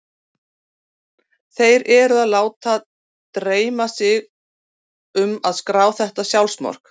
Þeir eru að láta dreyma sig um að skrá þetta sjálfsmark.